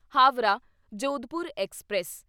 Howrah Jodhpur express